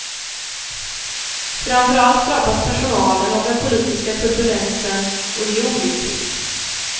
Framför allt drabbas personalen av den politiska turbulensen och det är olyckligt.